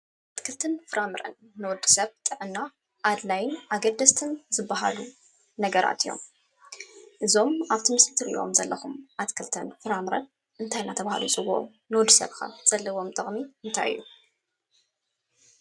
ኣትክልቲን ፍራምረም ንወደሰብ ጥዕና ኣድላይን ኣገደስትን ዝበሃሉ ነገራት እዩም። እዞም ኣብቲ መስሊ ትርእዎም ዘለኩም ኣትክልቲን ፍራምረን እንታይ እዳተበሃሉ ይፅውዑ? ንወድሰብ ከ ዘለዎም ጥቅሚ እንታይ እዩ?